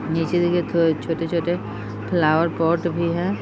नीचे देखिये थो छोटे-छोटे फ्लावर पोट भी है।